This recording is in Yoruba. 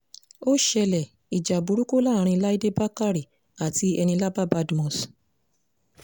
ó ṣẹlẹ̀ ìjà burúkú láàrin láìdé bàkàrẹ àti enílábà badmus